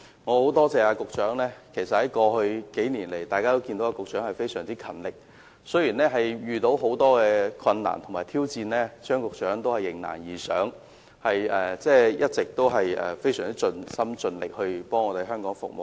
我很感謝局長，過去數年來，大家都看到他非常勤力，雖然遇到很多困難和挑戰，他仍然迎難而上，一直非常盡心盡力為香港服務。